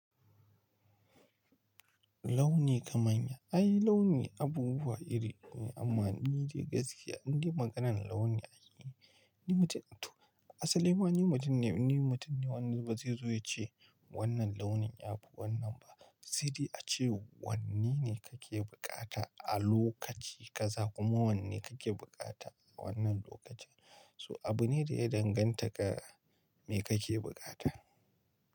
Launi kamanya, ai launi abubuwa iri ne amma ni dai gaskiya in dai maganan launi ai ni mutum, to asalin ma ni mutum ne, ni mutum ne wanda ba zai zo ya ce wannan launin ya fi wannan ba. Sai dai a ce wanne ne kake bukata a lokaci kaza kuma wanne kake bukata wannan lokacin. So abu ne da ya danganta ga me kake bukata.